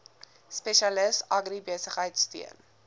spesialis agribesigheid steun